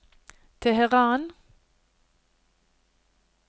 Teheran